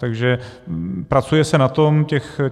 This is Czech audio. Takže pracuje se na tom.